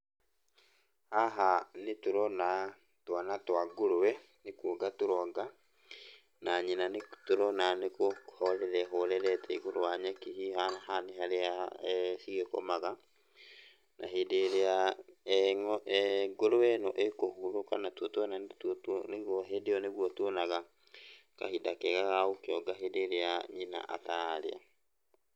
Haha nĩ tũrona twana twa ngũrũwe nĩ kuonga tũronga, na nyina nĩtũrona nĩkũhorera ĩhorerete igũrũ wa nyeki hihi haha nĩ harĩa cigĩkomaga. Na hĩndĩ ĩrĩa ngũrũwe ĩno ĩũhurũka natuo twana nĩtuo nĩguo hĩndĩ ĩyo nĩguo tuonaga kahinda kega ga gũkĩonga hĩndĩ ĩrĩa nyina atararĩa